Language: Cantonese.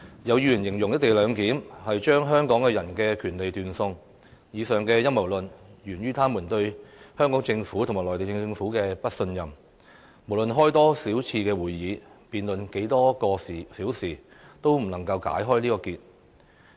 有議員形容"一地兩檢"是把香港人的權利斷送，這陰謀論源於他們對香港政府和內地政府的不信任，無論召開多少次會議，辯論多少個小時，也無法解開這個結。